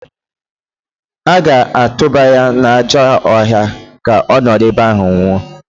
A ga-atụba ya n'ajọ ọhịa ka ọ nọrọ ebe ahụ nwụọ